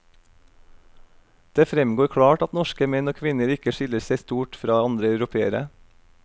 Det fremgår klart at norske menn og kvinner ikke skiller seg stort fra andre europeere.